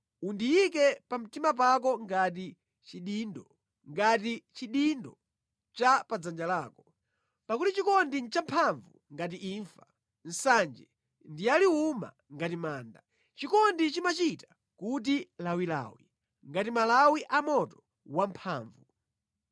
Undiyike pamtima pako ngati chidindo, ngati chidindo cha pa dzanja lako; pakuti chikondi nʼchamphamvu ngati imfa, nsanje ndiyaliwuma ngati manda. Chikondi chimachita kuti lawilawi ngati malawi a moto wamphamvu.